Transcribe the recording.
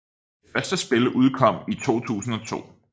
Det første spil udkom i 2002